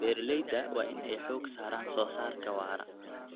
Beeralayda waa in ay xooga saaraan wax soo saarka waara.